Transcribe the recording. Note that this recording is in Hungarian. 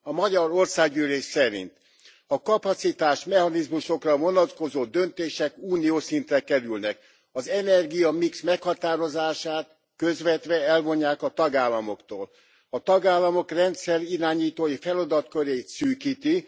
A Magyar Országgyűlés szerint a kapacitásmechanizmusokra vonatkozó döntések uniós szintre kerülnek, az energiamix meghatározását közvetve elvonják a tagállamoktól, a tagállamok rendszerirányítói feladatkörét szűkítik.